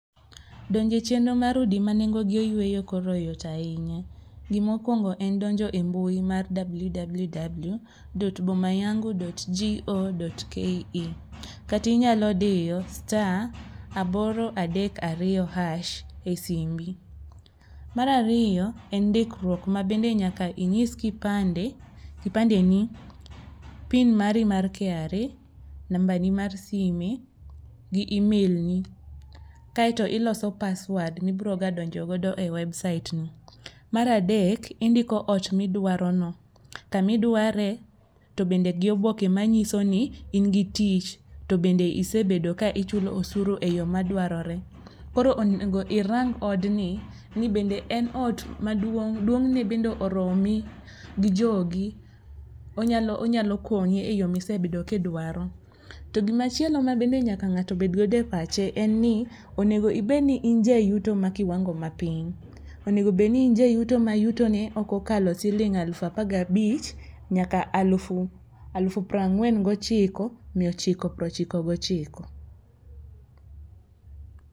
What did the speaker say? Donjo e chenro mar udi manengogi oyueyo koro yot ahinya. Gima okuongo en donjo e mbui mar www.boma .yangu.go.ke kata inyalo diyo star aboro adek ariyo hash esimbi. Mar ariyo en ndikruok mabende nyaka inyis kipande, kipande ni , pin mari mar KRA, nambani mar sime gi email ni, kaeto iloso password ma ibiro ga donjogo e website ni. Mar adek, indiko ot midwarono, kama iduare to bende gi oboke manyiso ni in gi tich tobende isebedo ka ichulo osuru eyo madwarore. Koro onego irang odni ni bende en ot maduong,' duong' ne bende oromi gi jogi, onyalo onyalo konyi eyo ma isebedo ka idwaro. To gima chielo ma bende nyaka ng'ato obedgodo e pache en ni onego ibed ni in jayuto ma kiwango mapiny. Onego bed ni in jayuto ma yutone ok okal siling alufu apar gabich nyaka alufu alufu piero ang'wen miya ochiko piero ochiko gi ochiko.